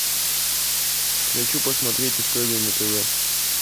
хочу посмотреть историю на тв